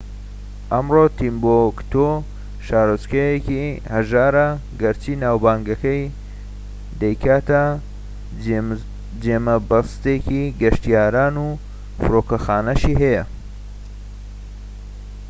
ئەمڕۆ تیمبوکتو شارۆچکەیەکی هەژارە گەرچی ناوبانگەکەی دەیکاتە جێمەبەستێکی گەشتیاران و فرۆکەخانەیەکیشی هەیە